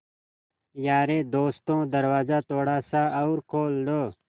यारे दोस्तों दरवाज़ा थोड़ा सा और खोल दो